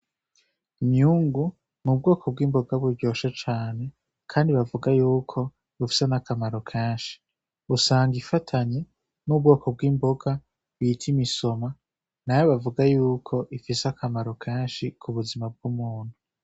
Imyungu n'ubwoko bw'imboga buryoshe cane kandi bavuga yuko bufise n' akamaro kenshi busanga ifatanye n'akamaro k'imboga bita imisoma nayo bavuga yuko ifise akamaro kenshi mu buzima bw'umuntu